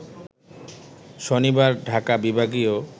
শনিবার ঢাকা বিভাগীয়